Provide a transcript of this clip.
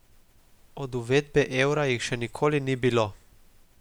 Od uvedbe evra jih še nikoli ni bilo.